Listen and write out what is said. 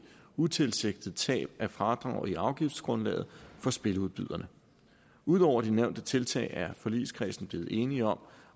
utilsigtet tab af fradrag i afgiftsgrundlaget for spiludbyderne ud over de nævnte tiltag er forligskredsen blevet enige om